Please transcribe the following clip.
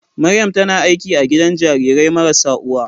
Maryam tana aiki a gidan jarirai marasa uwa.